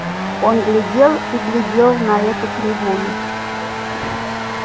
он глядел и глядел на эту кривую